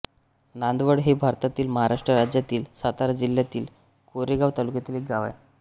नांदवळ हे भारतातील महाराष्ट्र राज्यातील सातारा जिल्ह्यातील कोरेगाव तालुक्यातील एक गाव आहे